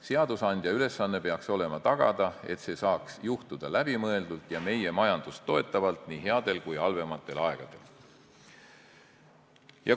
Seadusandja ülesanne peaks olema tagada, et see saaks juhtuda läbimõeldult ja meie majandust toetavalt nii headel kui ka halvematel aegadel.